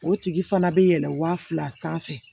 O tigi fana bɛ yɛlɛn waa fila sanfɛ